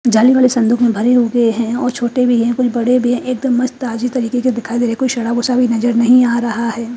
जाली वाली सुन्दुक मे भरे हगे है और छोटे भी है कुल बड़े भी है एक दम मस्त ताज़ी तरीके के दिखाई देरे कोई सड़ा भूसा भी नज़र नही आ रहा है।